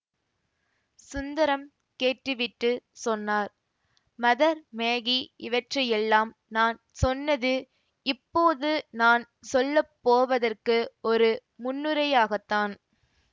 சுந்தரம் கேட்டுவிட்டுச் சொன்னார் Mother Maggie இவற்றையெல்லாம் நான் சொன்னது இப்போது நான் சொல்ல போவதற்கு ஒரு முன்னுரையாகத்தான்